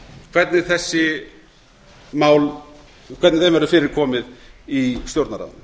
hvernig þessum málum verður fyrir komið í stjórnarráðinu